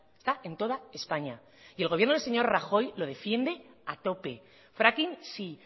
está en toda españa y el gobierno del señor rajoy lo defiende a tope fracking sí